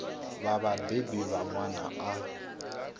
vha vhabebi vha ṅwana a